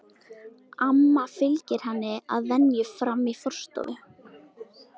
Amma fylgir henni að venju fram í forstofu.